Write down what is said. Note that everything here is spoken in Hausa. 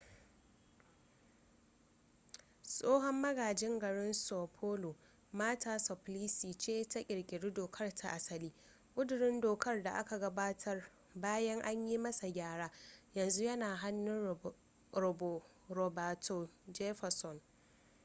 tsohon magajin garin são paulo marta suplicy ce ta kirkiri dokar ta asali. ƙudurin dokar da aka gabatar bayan an yi masa gyara yanzu yana hannun roberto jefferson